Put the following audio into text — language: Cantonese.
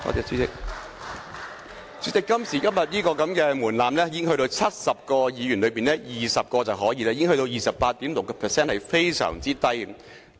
主席，今時今日這門檻只須在70位議員中有20位議員便可，只是 28.6%， 已經是非常低的了。